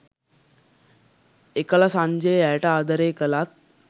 එකල සංජය ඇයට ආදරය කළත්